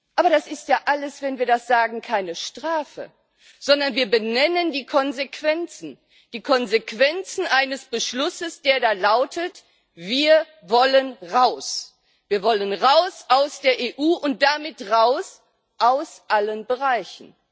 Aber das ist ja alles, wenn wir das sagen, keine Strafe. Sondern wir benennen die Konsequenzen die Konsequenzen eines Beschlusses, der da lautet Wir wollen raus, wir wollen raus aus der EU und damit raus aus allen Bereichen.